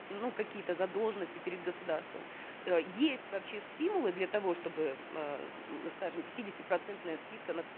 ну какие то задолженности перед государством э есть вообще стимулы для того чтобы э скажем пятидесятипроцентная скидка на